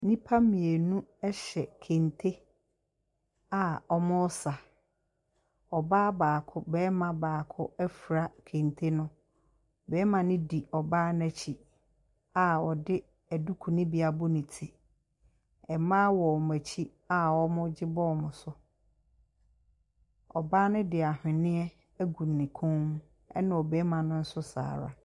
Nnipa mmienu ɛhyɛ kente a wɔresa. Ɔbaa baako, barima baako afira kente no. barima no di ɔbaa no akyi a ɔde duku no bi abɔ ne ti. Mmaa wɔ wɔn akyi a wɔɔgye bɔ wɔn so. Ɔbaa no de ahweneɛ agu ne kɔn mu ɛna ɔbarima no nso saa ara.